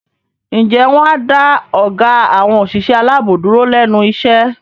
Ǹjẹ́ wọn á dá ọgá àwọn òṣìṣẹ́ aláàbò dúró lẹ́nu iṣẹ́?